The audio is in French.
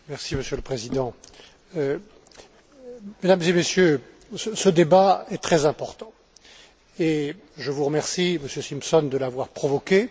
Monsieur le Président, Mesdames et Messieurs, ce débat est très important et je vous remercie, Monsieur Simpson, de l'avoir provoqué.